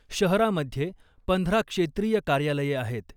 शहरामध्ये पंधरा क्षेत्रीय कार्यालये आहेत .